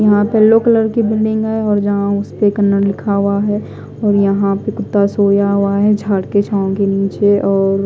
यहा पे yellow colour की बिल्डिंग है और जहा उसपे कनर लिखा हुआ है और यहा पे कुत्ता सोया हुआ है झाड़ के छाव के निचे और--